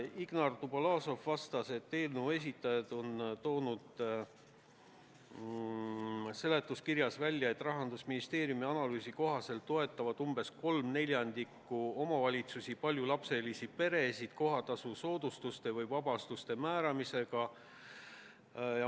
Ingar Dubolazov selgitas, et eelnõu esitajad on seletuskirjas välja toonud, et Rahandusministeeriumi analüüsi kohaselt toetab umbes 3/4 omavalitsusi paljulapselisi peresid kohatasu soodustuste või vabastuste määramisega.